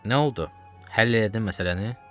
Nə oldu, həll elədin məsələni?